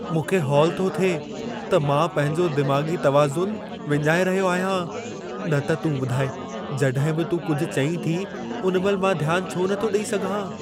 मूंखे हौल थो थिए त मां पंहिंजो दिमाग़ी तुवाज़ुनि विञाए रहियो आहियां। न त तूं ॿुधाए जॾहिं बि तूं कुझु चईं थी, उन महिल मां ध्यान छो नथो ॾेई सघां।